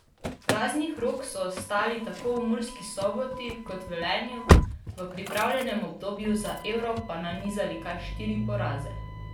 Praznih rok so ostali tako v Murski Soboti kot Velenju, v pripravljalnem obdobju na Euro pa nanizali kar štiri poraze.